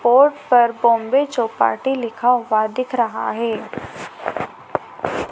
Board पर बोम्बे चौपाटी लिखा हुआ दिख रहा है।